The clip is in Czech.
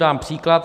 Dám příklad.